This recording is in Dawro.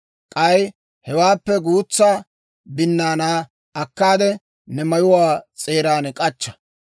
K'ay hewaappe guutsa binnaanaa akkaade, ne mayuwaa s'eeran k'achcha.